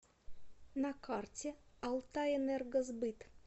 на карте алтайэнергосбыт